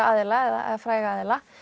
aðila eða fræga aðila